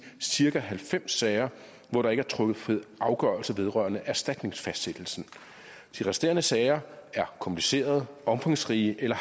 cirka halvfems sager hvor der ikke er truffet afgørelse vedrørende erstatningsfastsættelsen de resterende sager er komplicerede eller omfangsrige eller